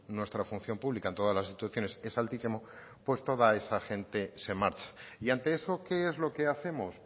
nuestra función pública en todas las instituciones es altísimo pues toda esa gente se marcha y ante eso qué es lo que hacemos